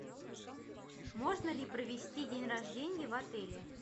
можно ли провести день рождения в отеле